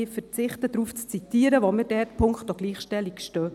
Ich verzichte darauf, daraus zu zitieren, wo wir punkto Gleichstellung stehen.